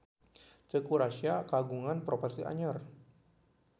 Teuku Rassya kagungan properti anyar